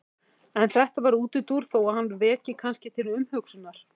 En þetta var útúrdúr þó að hann veki kannski til umhugsunar.